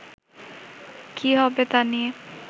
কী হবে তা নিয়ে